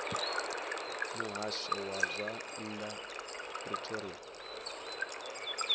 muhasho wa zwa nnḓa pretoria